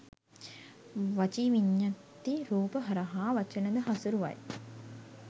වචී විඤ්ඤත්ති රූප හරහා වචනද හසුරුවයි